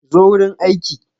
Zo wurin aiki.